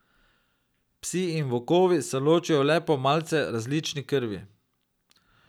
Psi in volkovi se ločijo le po malce različni krvi.